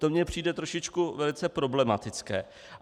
To mně přijde trošičku velice problematické.